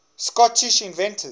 scottish inventors